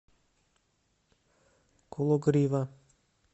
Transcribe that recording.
кологрива